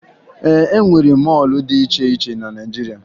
E nwere mọọlụ dị iche iche na Naịjirịa